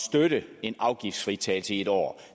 støtte en afgiftsfritagelse i en år